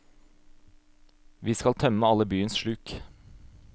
Vi skal tømme alle byens sluk.